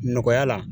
Nɔgɔya la